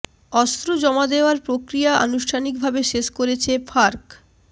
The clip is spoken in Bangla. অস্ত্র জমা দেয়ার প্রক্রিয়া আনুষ্ঠানিক ভাবে শেষ করেছে ফার্ক